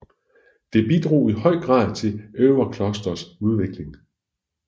Det bidrog i høj grad til Övedklosters udvikling